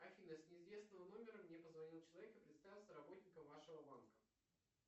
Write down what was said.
афина с неизвестного номера мне позвонил человек и представился работником вашего банка